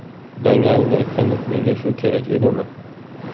Dangalini aytganda, menga shu kerak edimi?